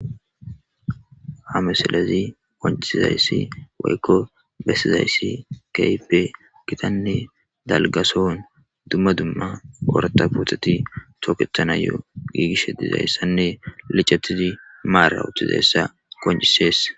hamesalezi konciizayssi woykko bessizayssi keype gitanne dalgason dumma dumma oorata buutxeti tooketana yo giigish dizayssanne licetizi maara uttizayssa koncisees